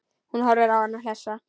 Hún horfir á hann hlessa.